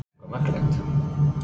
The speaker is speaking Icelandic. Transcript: Eitthvað merkilegt?